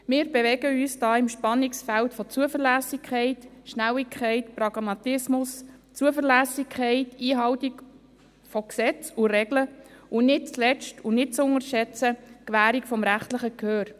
Wir bewegen uns im Spannungsfeld von Zuverlässigkeit, Schnelligkeit, Pragmatismus, Zuverlässigkeit, Einhaltung von Gesetzen und Regeln und nicht zuletzt, und nicht zu unterschätzen, Gewährung des rechtlichen Gehörs.